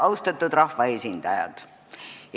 Austatud rahvaesindajad!